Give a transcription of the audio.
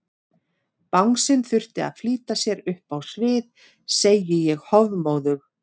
Bangsinn þurfti að flýta sér upp á svið, segi ég hofmóðug.